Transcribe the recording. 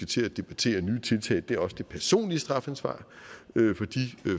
til at debattere nye tiltag er også det personlige strafansvar